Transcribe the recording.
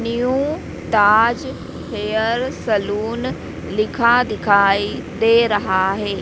New Taj hair salon लिखा दिखाई दे रहा है।